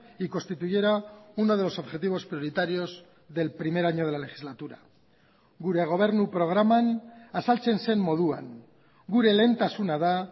y constituyera uno de los objetivos prioritarios del primer año de la legislatura gure gobernu programan azaltzen zen moduan gure lehentasuna da